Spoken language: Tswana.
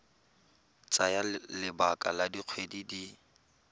tsaya lebaka la dikgwedi di